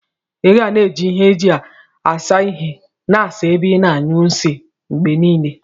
Iga na eji ihe eji asa ihe na asa ebe ina anyụ nsi mgbenile.